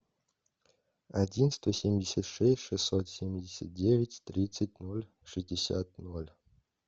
один сто семьдесят шесть шестьсот семьдесят девять тридцать ноль шестьдесят ноль